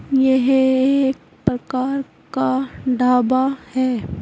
यह एक प्रकार का ढाबा है।